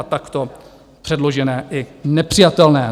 a takto předložené i nepřijatelné!